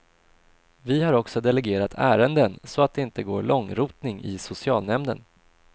Vi har också delegerat ärenden, så att det inte går långrotning i socialnämnden.